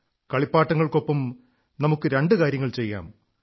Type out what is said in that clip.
കളിപ്പാട്ടങ്ങൾക്കൊപ്പം നമുക്ക് രണ്ടു കാര്യങ്ങൾ ചെയ്യാം